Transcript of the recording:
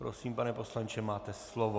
Prosím, pane poslanče, máte slovo.